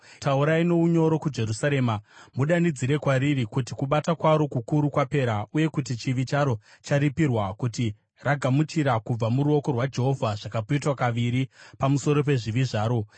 Taurai nounyoro kuJerusarema, mudanidzire kwariri kuti kubata kwaro kukuru kwapera, uye kuti chivi charo charipirwa, kuti ragamuchira kubva muruoko rwaJehovha zvakapetwa kaviri pamusoro pezvivi zvaro.